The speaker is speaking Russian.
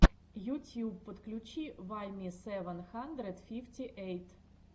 ютьюб подключи вайми сэвэн хандрэд фифти эйт